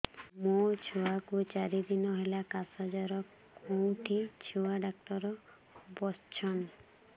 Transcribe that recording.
ମୋ ଛୁଆ କୁ ଚାରି ଦିନ ହେଲା ଖାସ ଜର କେଉଁଠି ଛୁଆ ଡାକ୍ତର ଵସ୍ଛନ୍